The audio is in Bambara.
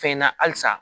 Fɛn na halisa